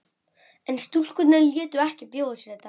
En stúlkurnar létu ekki bjóða sér þetta.